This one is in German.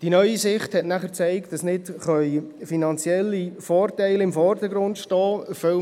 Es zeigte sich, dass nicht finanzielle Vorteile im Vordergrund stehen können.